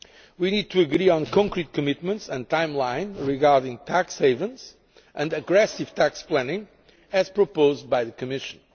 We need to agree on concrete commitments and timelines regarding tax havens and aggressive tax planning, as proposed by the Commission.